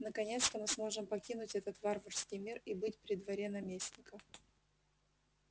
наконец-то мы сможем покинуть этот варварский мир и быть при дворе наместника